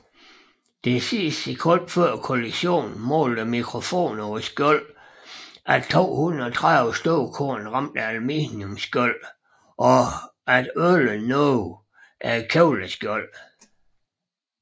Det sidste sekund før kollisionen målte mikrofoner på skjoldene at 230 støvkorn ramte aluminiumsskjoldet og at 11 nåede kevlarskjoldet